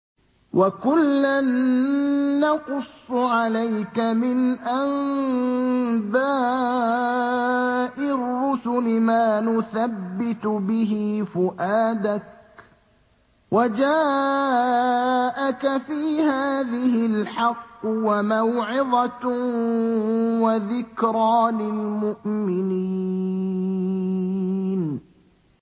وَكُلًّا نَّقُصُّ عَلَيْكَ مِنْ أَنبَاءِ الرُّسُلِ مَا نُثَبِّتُ بِهِ فُؤَادَكَ ۚ وَجَاءَكَ فِي هَٰذِهِ الْحَقُّ وَمَوْعِظَةٌ وَذِكْرَىٰ لِلْمُؤْمِنِينَ